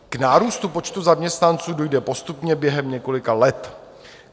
K nárůstu počtu zaměstnanců dojde postupně během několika let.